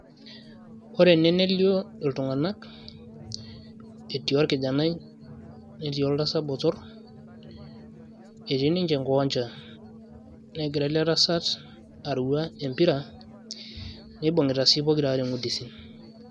ore ene nelio iltung'anak etii orkijanai netii oltasat botorr etii ninche enkiwanja negira ele tasat arua empira neibung'ita sii pokiraare ng'udisik.